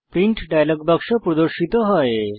print dialog বাক্স প্রদর্শিত হয়